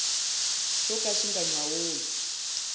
xo ka xi nga nyawuli